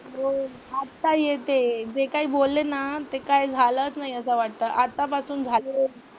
हो आत्ता येते. जे काय बोलले ना ते काय झालंच नाही असं वाटतं. आत्तापासून झालं,